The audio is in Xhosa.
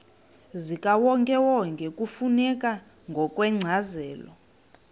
zikawonkewonke kufuneka ngokwencazelo